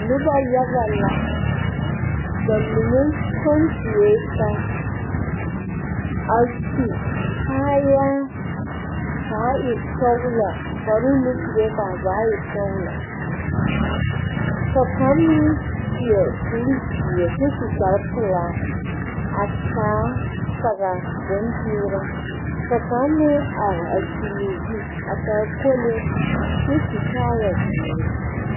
Nuba yaga la ba mene tung tuɛ taa a su kaaya kaa ẽ sɔglo kparoo ne kuree kaa zaa e sɔglo ka kanga meng seɛ kuri zeɛ kye su kpare pelaa a taa sagri bunn peeraa ka kang meng arẽ a suli ɔ zu a taa kolee kye su kaaya zeeri.